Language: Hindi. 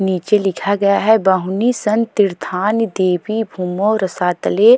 नीचे लिखा गया है बहूनि सन्ति तीर्थानि दिवि भूमौ रसातले।